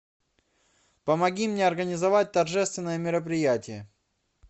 помоги мне организовать торжественное мероприятие